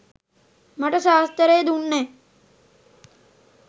මට සාස්තරේ දුන්නෙ